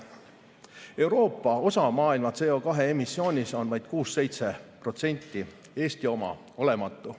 Euroopa osa maailma CO2 emissioonist on vaid 6–7%, Eesti oma olematu.